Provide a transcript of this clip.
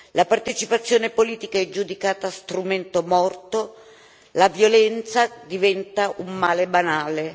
La partecipazione politica è giudicata strumento morto, la violenza diventa un male banale.